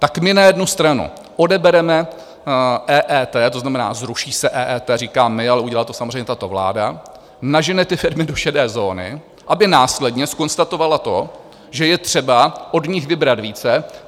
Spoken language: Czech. Tak my na jednu stranu odebereme EET, to znamená, zruší se EET, říkám my, ale udělala to samozřejmě tato vláda, nažene ty firmy do šedé zóny, aby následně zkonstatovala to, že je třeba od nich vybrat více.